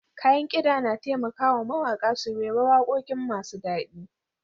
Kayan kida na taimaka wa mawaƙa su rera waƙoƙi masu daɗi.